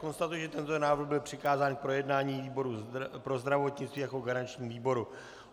Konstatuji, že tento návrh byl přikázán k projednání výboru pro zdravotnictví jako garančnímu výboru.